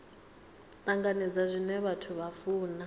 tanganedza zwine vhathu vha funa